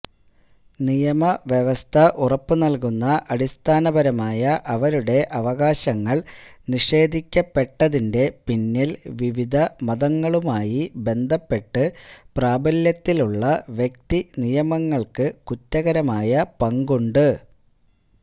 നിയമവ്യവസ്ഥ ഉറപ്പുനൽകുന്ന അടിസ്ഥാനപരമായ അവരുടെ അവകാശങ്ങൾ നിഷേധിക്കപ്പെട്ടതിന്റെ പിന്നിൽ വിവിധമതങ്ങളുമായി ബന്ധപ്പെട്ട് പ്രാബല്യത്തിലുള്ള വ്യക്തിനിയമങ്ങൾക്ക് കുറ്റകരമായ പങ്കുണ്ട്